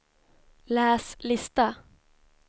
läs lista